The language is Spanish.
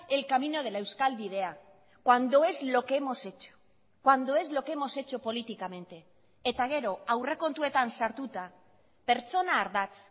el camino de la euskal bidea cuando es lo que hemos hecho cuando es lo que hemos hecho políticamente eta gero aurrekontuetan sartuta pertsona ardatz